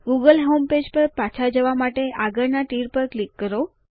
Google homepage પર પાછા જવા માટે આગળના તીર પર ક્લિક કરો